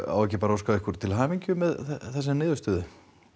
á ekki bara að óska ykkur til hamingju með þessa niðurstöðu